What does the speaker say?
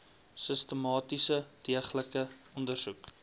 sistematiese deeglike ondersoek